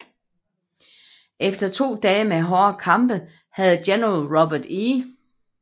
Efter to dage med hårde kampe havde General Robert E